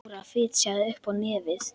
Dóra fitjaði upp á nefið.